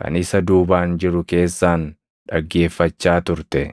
kan isa duubaan jiru keessaan dhaggeeffachaa turte.